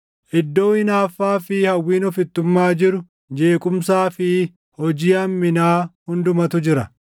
Iddoo hinaaffaa fi hawwiin ofittummaa jiru, jeequmsaa fi hojii hamminaa hundumatu jira.